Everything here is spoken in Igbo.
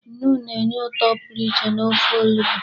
Nnu na-enye ụtọ pụrụ iche n'ofe onugbu.